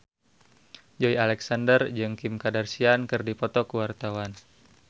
Joey Alexander jeung Kim Kardashian keur dipoto ku wartawan